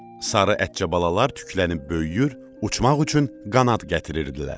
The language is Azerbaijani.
Sarı ətçə balalar tüklənib böyüyür, uçmaq üçün qanad gətirirdilər.